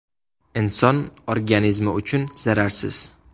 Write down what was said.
Inson organizmi uchun zararsiz.